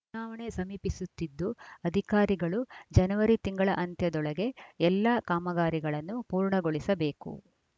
ಚುನಾವಣೆ ಸಮೀಪಿಸುತ್ತಿದ್ದು ಅಧಿಕಾರಿಗಳು ಜನವರಿ ತಿಂಗಳ ಅಂತ್ಯದೊಳಗೆ ಎಲ್ಲಾ ಕಾಮಗಾರಿಗಳನ್ನು ಪೂರ್ಣಗೊಳಿಸಬೇಕು